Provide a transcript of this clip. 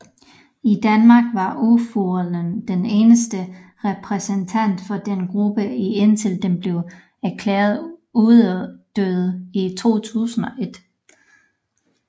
I Danmark var urfuglen den eneste repræsentant for denne gruppe indtil den blev erklæret uddød i 2001